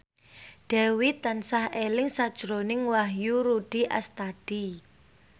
Dewi tansah eling sakjroning Wahyu Rudi Astadi